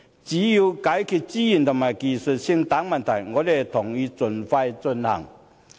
只要解決資源和技術性等問題，我們同意盡快進行。